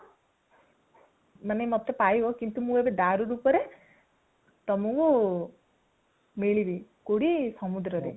ମାନେ ମତେ ପାଇବ କିନ୍ତୁ ଏବେ ମୁଁ ଦାରୁ ରୁପରେ ତୁମକୁ ମିଳିବି କଉଠି ସମୁଦ୍ର ରେ